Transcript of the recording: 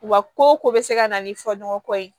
Wa ko o ko bɛ se ka na ni fɔ ɲɔgɔn kɔ ye